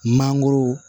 Mangoro